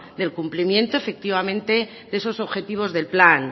del cumplimento efectivamente de esos objetivos del plan